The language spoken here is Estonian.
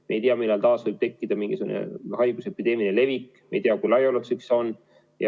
Me ei tea, millal taas võib tekkida mingisugune haiguse epideemiline levik, me ei tea, kui laiaulatuslik see on.